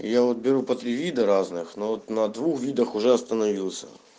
я вот беру по три вида разных но вот на двух видах уже остановился